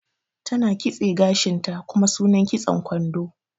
Ta na kitse gashin ta, kuma sunan kitson kwando.